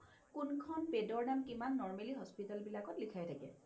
কোনখন bed ৰ দাম কিমান normally hospital বিলাকত লিখাই থাকে